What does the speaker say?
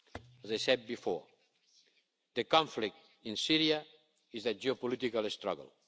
people. As I said before, the conflict in Syria is a geopolitical